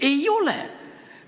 Ei ole!